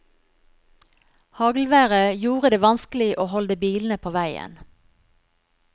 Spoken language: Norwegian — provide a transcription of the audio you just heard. Haglværet gjorde det vanskelig å holde bilene på veien.